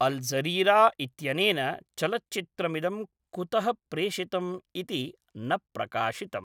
अल् Jazeera इत्यनेन चलच्चित्रमिदं कुतः प्रेषितम् इति न प्रकाशितम्।